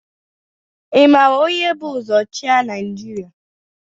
Ị mara onye bu ụzọ chịa Naịjirịa?